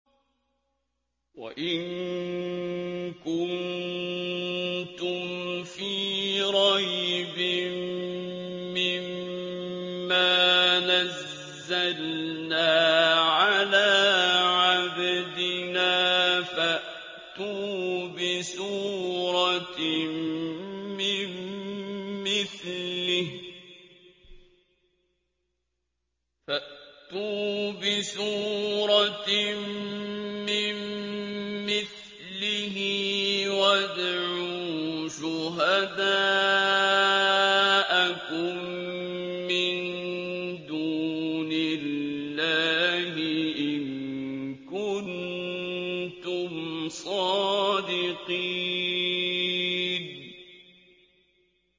وَإِن كُنتُمْ فِي رَيْبٍ مِّمَّا نَزَّلْنَا عَلَىٰ عَبْدِنَا فَأْتُوا بِسُورَةٍ مِّن مِّثْلِهِ وَادْعُوا شُهَدَاءَكُم مِّن دُونِ اللَّهِ إِن كُنتُمْ صَادِقِينَ